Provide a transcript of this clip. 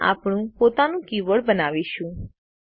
હવે આપણે આપણું પોતાનું કીબોર્ડ બનાવીશું